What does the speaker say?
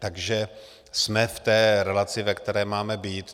Takže jsme v té relaci, ve které máme být.